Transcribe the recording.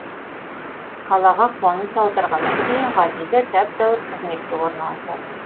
қалаға қоныс аударғаннан кейін ғазиза тәп тәуір қызметке орналасады